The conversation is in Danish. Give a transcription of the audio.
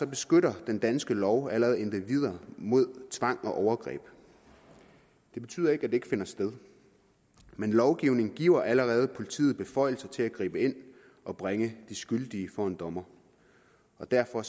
beskytter den danske lov allerede individer mod tvang og overgreb det betyder ikke at det ikke finder sted men lovgivningen giver allerede politiet beføjelser til at gribe ind og bringe de skyldige for en dommer og derfor